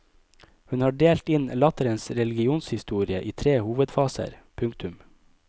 Hun har delt inn latterens religionshistorie i tre hovedfaser. punktum